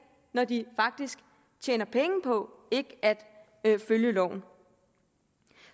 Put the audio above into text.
når de faktisk tjener penge på ikke at følge loven